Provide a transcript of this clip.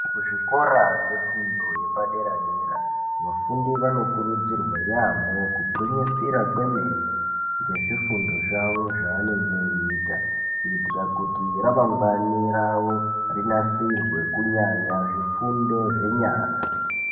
Kuzvikora zvefundo yepaderadera vafundi vanokurudzirwa yamho kugwinyisira kwemene ngezvifundo zvawo zvaavanenge veita kuitira kuti remangwani rawo rinasirwe kunyanya zvifundo zvenyara.